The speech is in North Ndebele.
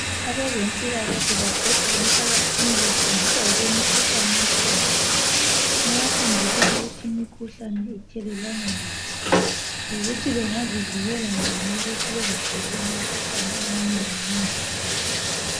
Abezempilakahle babhoda emphakathini befundisa ngokwemikhuhlane ekhona bayafundisa ukuthi imikhuhlane ithelelwana njani lokuthi bengazivikela njani ukuthi bengatholi imikhuhlane eminengi nengi.